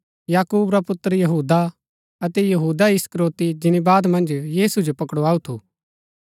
याकूब रा पुत्र यहूदा अतै यहूदा इस्करियोती जिनी बाद मन्ज यीशु जो पकड़ाऊ थु